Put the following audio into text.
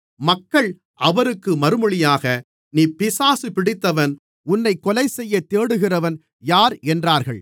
மக்கள் அவருக்கு மறுமொழியாக நீ பிசாசு பிடித்தவன் உன்னைக் கொலைசெய்யத் தேடுகிறவன் யார் என்றார்கள்